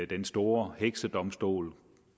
den store heksedomstol